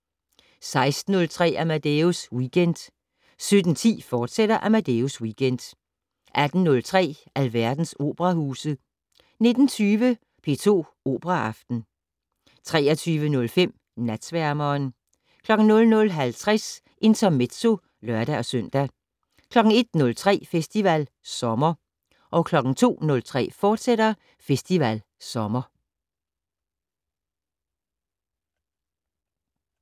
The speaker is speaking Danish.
16:03: Amadeus Weekend 17:10: Amadeus Weekend, fortsat 18:03: Alverdens operahuse 19:20: P2 Operaaften 23:05: Natsværmeren 00:50: Intermezzo (lør-søn) 01:03: Festival Sommer 02:03: Festival Sommer, fortsat